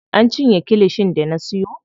An cinye kilishin da na siyo.